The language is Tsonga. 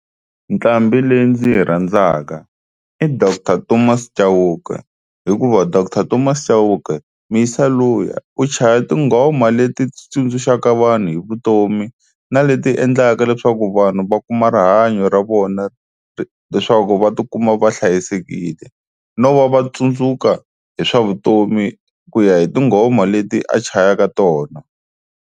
Nqambhi leyi ndzi yi rhandzaka i doctor Thomas Chauke hikuva doctor Thomas Chauke muyisa luya u chaya tinghoma leti tsundzuxaka vanhu hi vutomi na leti endlaka leswaku vanhu va kuma rihanyo ra vona leswaku va tikuma va hlayisekile, no va va tsundzuka hi swa vutomi ku ya hi tinghoma leti a chayaka tona.